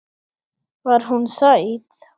Var hún sæt?